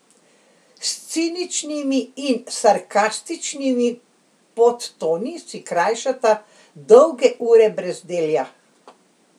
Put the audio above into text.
S ciničnimi in sarkastičnimi podtoni si krajšata dolge ure brezdelja.